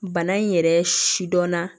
Bana in yɛrɛ sidɔnna